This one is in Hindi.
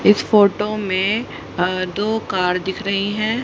इस फोटो में अ दो कार दिख रही हैं।